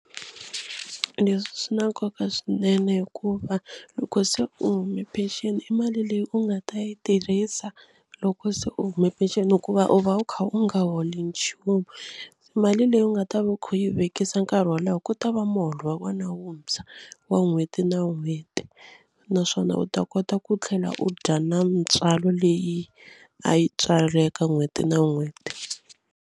Leswi swi na nkoka swinene hikuva loko se u huma peceni i mali leyi u nga ta yi tirhisa loko se u huma pension hikuva u va u kha u nga holi nchumu. Mali leyi u nga va ta va u khi yi vekisa nkarhi wo leha ku ta va muholo wa wena wuntshwa wa n'hweti na n'hweti naswona u ta kota ku tlhela u dya na mintswalo leyi a yi tswala eka n'hweti na n'hweti.